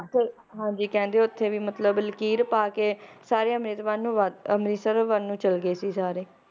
ਹਾਂਜੀ ਕਹਿੰਦੇ ਓਥੇ ਵੀ ਮਤਲਬ ਲਕੀਰ ਪਾ ਕੇ, ਸਾਰੇ ਅੰਮ੍ਰਿਤ ਵੱਲ ਨੂੰ ਵਾ~ ਅੰਮ੍ਰਿਤਸਰ ਵੱਲ ਨੂੰ ਚਲੇ ਗਏ ਸੀ ਸਾਰੇ